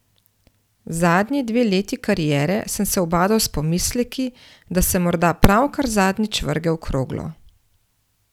Zadnji dve leti kariere sem se ubadal s pomisleki, da sem morda pravkar zadnjič vrgel kroglo.